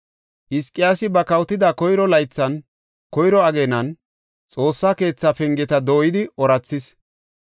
Hizqiyaasi ba kawotida koyro laythan, koyro ageenan, Xoossa keethaa pengeta dooyidi oorathis.